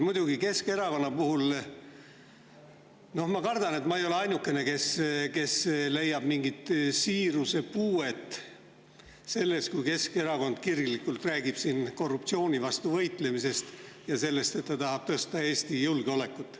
Muidugi, ma kardan, et ma ei ole ainukene, kes leiab mingit siirusepuuet selles, kui Keskerakond kirglikult räägib siin korruptsiooni vastu võitlemisest ja sellest, et ta tahab Eesti julgeolekut.